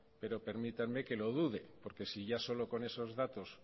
pero permítanme que lo dude porque si ya solo con esos datos